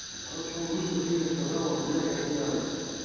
короче он говорит что ты мне сказала бля я тебя